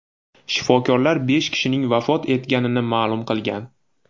Shifokorlar besh kishining vafot etganini ma’lum qilgan.